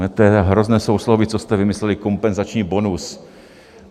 To je hrozné sousloví, co jste vymysleli - kompenzační bonus.